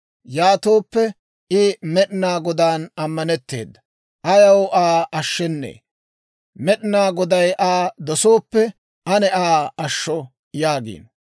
Yaatooppe, «I Med'inaa Godaan ammanetteedda; ayaw Aa ashshennee? Med'inaa Goday Aa dosooppe, ane Aa ashsho» yaagiino.